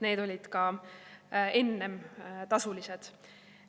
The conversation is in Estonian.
Need olid ka enne tasulised.